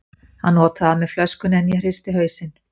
Hann otaði að mér flöskunni, en ég hristi hausinn.